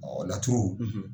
, laturu,